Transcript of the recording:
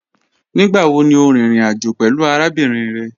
Nigbawo ni o rin irin ajo pẹlu arabinrin rẹ?